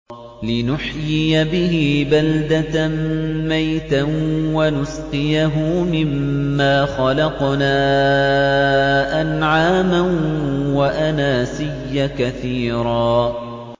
لِّنُحْيِيَ بِهِ بَلْدَةً مَّيْتًا وَنُسْقِيَهُ مِمَّا خَلَقْنَا أَنْعَامًا وَأَنَاسِيَّ كَثِيرًا